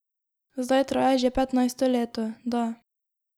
Zdaj traja že petnajsto leto, da.